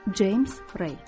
James Rey.